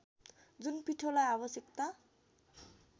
जुन पिठोलाई आवश्यकता